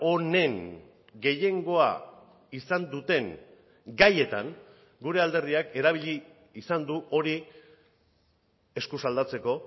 honen gehiengoa izan duten gaietan gure alderdiak erabili izan du hori eskuz aldatzeko